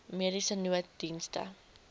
mediese nooddienste